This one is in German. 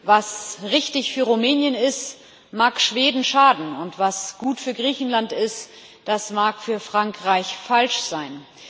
Was richtig für Rumänien ist, mag Schweden schaden, und was gut für Griechenland ist, das mag für Frankreich falsch sein.